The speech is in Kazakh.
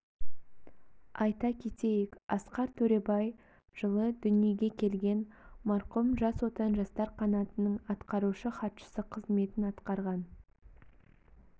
айта кетейік асқар төребай жылы дүниеге келген марқұм жас отан жастар қанатының атқарушы хатшысы қызметін атқарған